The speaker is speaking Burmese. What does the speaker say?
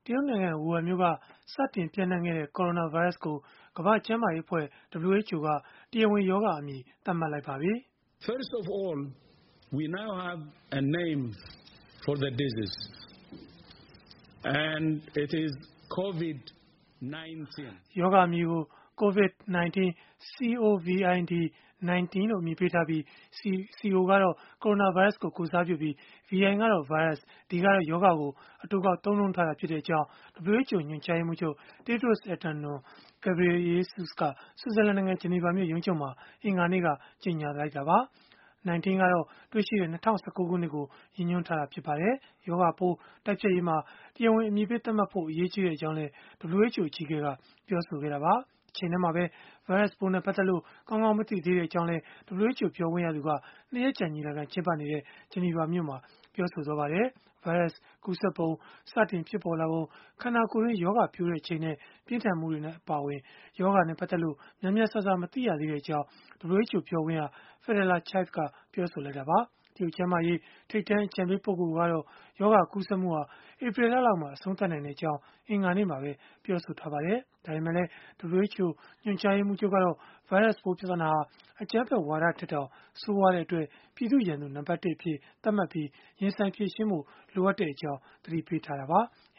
ရုတ်နိုင်ငံ ဝူဟန်မြို့က စတင်ပျံ့နှံ့ခဲ့တဲ့ ကိုရိုနာဗိုင်းရပ်စ်ကို ကမ္ဘာ့ကျန်းမာရေးအဖွဲ့ (WHO) က တရားဝင်ရောဂါအမည် သတ်မှတ်လိုက်ပါတယ်။ “ရောဂါအမည်ကို Covid-19 c o v i d - 1 9 လို့ အမည်ပေးထားပြီး Co က ကိုရိုနာဗိုင်းရပ်စ်ကို ကိုယ်စားပြုပြီး၊ vi ကတော့ ဗိုင်းရပ်စ် d ကတော့ ရောဂါကို အတိုကောက် သုံးနှုန်းထားတာဖြစ်ကြောင်း” WHO ညွှန်ကြားရေးမှူးချုပ် Tedros Adhanom Ghebreyesus က ဆွစ်ဇာလန်နိုင်ငံ ဂျနီဗာမြို့ ရုံးချုပ်မှာ အင်္ဂါနေ့က ကြေညာလိုက်တာပါ။1 9 ကတော့ တွေ့ရှိခဲ့တဲ့ ၂၀၁၉ ခုနှစ်ကို ရည်ညွှန်းထားတာ ဖြစ်ပါတယ်။ ရောဂါပိုး တိုက်ဖျက်ရေးမှာ တရားဝင် အမည်ပေးသတ်မှတ်ဖို့ အရေးကြီးကြောင်းလည်း WHO အကြီးအကဲက ပြောဆိုခဲ့တာပါ။ တချိန်တည်းမှာပဲ ဗိုင်းရပ်စ်ပိုး ပတ်သက်လို့ ကောင်းကောင်း မသိသေးဘူးလို့လည်း WHO ပြောခွင့်ရက ၂ ရက်ကြာ ညီလာခံကျင်းပနေတဲ့ ဂျနီဗာမှာ ပြောဆိုခဲ့ပါတယ်။ ဗိုင်းရပ်စ် ကူးစက်ပုံ၊ စတင်ဖြစ်ပေါ်လာပုံ၊ ခန္ဓာကိုယ်တွင်း ရောဂါပျိုးချိန်နဲ့ ပြင်းထန်မှုတွေ အပါအဝင် ရောဂါနဲ့ ပတ်သက်လို့ များများစားစား မသိသေးကြောင်း WHO ပြောခွင့်ရ Fadela Chaib က ပြောလိုက်တာပါ။ တရုတ်ကျန်းမာရေး ထိပ်တန်း အကြံပေးပုဂ္ဂိုလ်ကတော့ ရောဂါကူးစက်မှုဟာ ဧပြီလလောက်မှာ အဆုံးသတ်နိုင်ကြောင်း အင်္ဂါနေ့မှာပဲ ပြောဆိုထားပါတယ်။ ဒါပေမဲ့လည်း WHO ညွှန်ကြားရေးမှူးချုပ်ကတော့ ဗိုင်းရပ်စ်ပိုး ပြဿနာဟာ အကြမ်းဖက်ဝါဒထက်တောင် ဆိုးရွားတဲ့အတွက် ပြည်သူ့ရန်သူ နံပတ် (၁) အဖြစ် သတ်မှတ်ပြီး ရင်ဆိုင်ဖြေရှင်းဖို့ လိုအပ်နေကြောင်း သတိပေးခဲ့တာပါ။